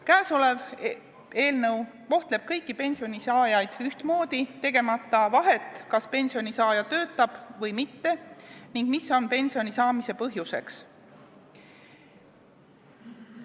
Käesolev eelnõu kohtleb kõiki pensionisaajaid ühtmoodi, tegemata vahet, kas pensionisaaja töötab või mitte, ning ei arvesta seda, mis on pensioni saamise põhjuseks.